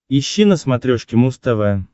ищи на смотрешке муз тв